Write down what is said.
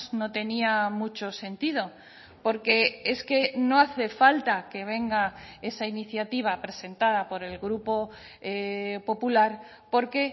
no tenía mucho sentido porque es que no hace falta que venga esa iniciativa presentada por el grupo popular porque